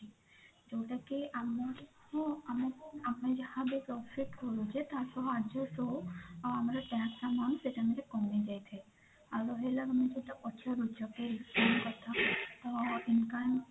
ଯୋଉଟା କି ଆମକୁ ଆମକୁ ଆମେ ଯାହା ବି profit କରୁଛେ ତା ସହ adjust ହୋଊ ତାପରେ ଆଉ ଆମର tax amount କମିଯାଇଥାଏ ଆଉ ରହିଲା ତ income